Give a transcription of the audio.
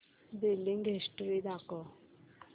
billing history दाखव